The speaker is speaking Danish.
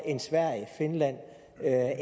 at